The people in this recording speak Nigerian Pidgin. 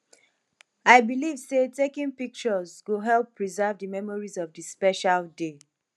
i believe say taking pictures go help preserve di memories of di special day